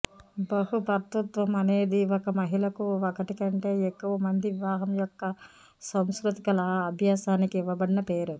బహుభర్తృత్వం అనేది ఒక మహిళకు ఒకటి కంటే ఎక్కువ మంది వివాహం యొక్క సాంస్కృతిక అభ్యాసానికి ఇవ్వబడిన పేరు